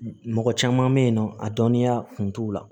Mɔgɔ caman bɛ yen nɔ a dɔnniya kun t'u la